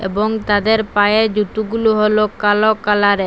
এবং তাদের পায়ের জুতুগুলু হল কালো কালারের।